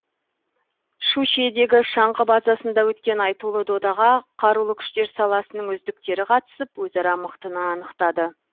щучьедегі шаңғы базасында өткен айтулы додаға қарулы күштер саласының үздіктері қатысып өзара мықтыны анықтады